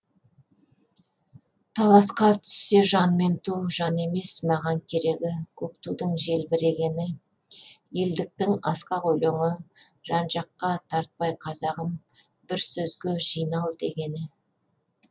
таласқа түссе жан мен ту жан емес маған керегі көк тудың желбірегені елдіктің асқақ өлеңі жан жаққа тартпай қазағым бір сөзге жинал дегені